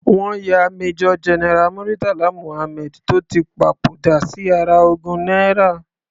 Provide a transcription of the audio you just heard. Wọ́n ya Major General Muritala Muhammad tó ti papòdà sí ara ogún náírà.